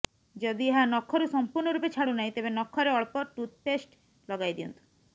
ଯଦି ଏହା ନଖରୁ ସମୂର୍ଣ୍ଣ ରୂପେ ଛାଡ଼ୁନାହିଁ ତେବେ ନଖରେ ଅଳ୍ପ ଟୁଥ୍ପେଷ୍ଟ୍ ଲଗାଇ ଦିଅନ୍ତୁ